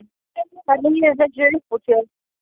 Hann ryður þessu upp úr sér.